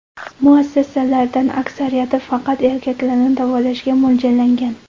Muassasalardan aksariyati faqat erkaklarni davolashga mo‘ljallangan.